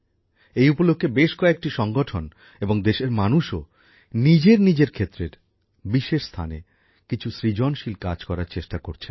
এই উপলক্ষে বেশ কয়েকটি সংগঠন এবং দেশের মানুষও নিজের নিজের ক্ষেত্রের বিশেষ স্থানে কিছু সৃজনশীল কাজ করার চেষ্টা করছেন